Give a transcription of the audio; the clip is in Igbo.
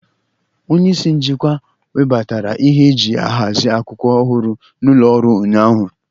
Onye isi njikwa webatara ihe eji ahazi akwụkwọ ọhụrụ n'ụlọ ọrụ ụnyaahụ.